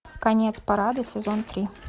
конец парада сезон три